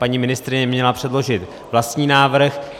Paní ministryně měla předložit vlastní návrh.